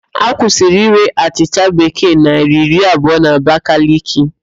A kwusịrị írē achịcha Bekee naịra iri abụọ n'Abakaliki